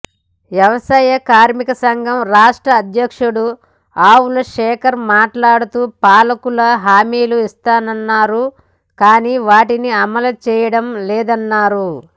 వ్యవసాయ కార్మికసంఘం రాష్ట్ర అధ్యక్షుడు ఆవుల శేఖర్ మాట్లాడుతూ పాలకులు హామీలు ఇస్తున్నారు కానీ వాటిని అమలు చేయడం లేదన్నారు